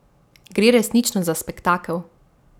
Gre resnično za spektakel.